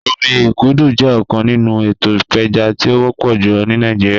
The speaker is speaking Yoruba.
Omi ikudu jẹ ọkan ninu eto ipeja ti o wọpọ julọ ni Nigeria